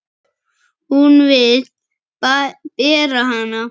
Hún vill bera hana.